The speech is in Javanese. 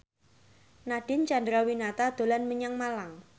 Nadine Chandrawinata dolan menyang Malang